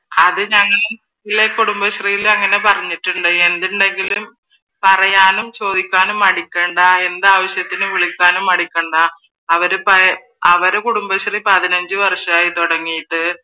അത് കുടുംബശ്രീയിൽ അങ്ങനെ പറഞ്ഞിട്ടുണ്ടായി എന്തുണ്ടെങ്കിലും പറയാനും ചോദിക്കാനും മടിക്കേണ്ട എന്താവശ്യത്തിനും വിളിക്കാനും മടിക്കേണ്ട അവരുടെ കുടുംബശ്രീ പതിനഞ്ച് വർഷം ആയി തുടങ്ങിട്ട്